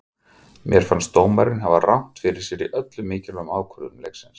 Mér fannst dómarinn hafa rangt fyrir sér í öllum mikilvægu ákvörðunum leiksins.